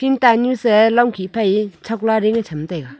chingtan nyu sa longkhih phai chokla ding cham taiga.